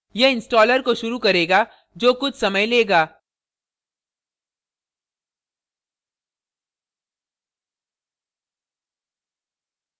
यह installer को शुरू करेगा जो कुछ समय लेगा